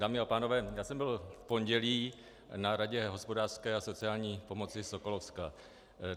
Dámy a pánové, já jsem byl v pondělí na Radě hospodářské a sociální pomoci Sokolovska.